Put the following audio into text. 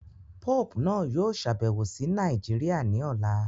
Pope naa yoo ṣabẹwo si Naijiria ni ọla